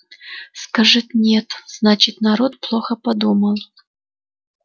скажет нет значит народ плохо подумал